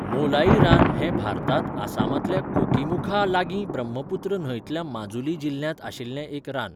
मोलाई रान हें भारतांत आसामांतल्या कोकीमुखा लागीं ब्रह्मपुत्र न्हंयतल्या माजुली जिल्ह्यांत आशिल्लें एक रान.